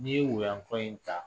N' ye woyanko in ta